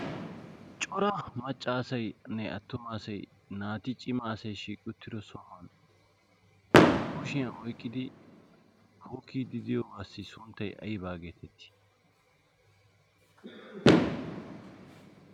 cora macca asayne attuma asay naati cima asay shiiqiuttido sohuwan kushiyan oyqqidi pookii didiyoobaassi sunttay aybaa geetettii